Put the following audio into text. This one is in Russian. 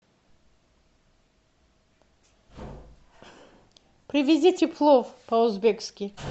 привезите плов по узбекски